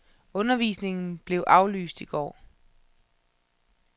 Undervisningen blev aflyst i går.